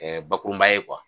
bakurunba ye